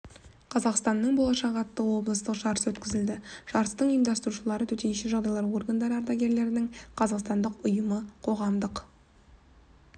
қазақстанның болашағы атты облыстық жарыс өткізілді жарыстың ұйымдастырушылары төтенше жағдайлар органдары ардагерлерінің қазақстандық ұйымы қоғамдық